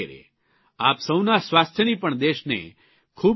આપ સૌના સ્વાસ્થ્યની પણ દેશને ખૂબ ચિંતા છે